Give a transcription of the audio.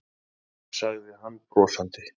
sagði hann brosandi.